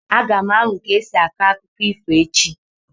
Aga m amụ ka esi akọ akụkọ ifo echi.